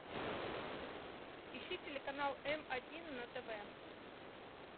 ищи телеканал м один на тв